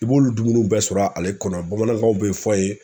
I b'olu dumuniw bɛɛ sɔr'a ale kɔnɔ bamanankanw be fɔ yen